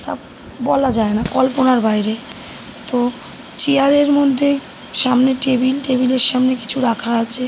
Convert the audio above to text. তা বলা যায়না। কল্পনার বাইরে। তো চেয়ার -এর মধ্যেই সামনে টেবিল টেবিল -এর সামনে কিছু রাখা আছে।